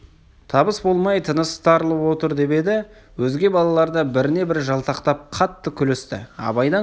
табыс болмай тынысы тарылып отыр деп еді өзге балалар да біріне-бірі жалтақтап қатты күлісті абайдан қысыла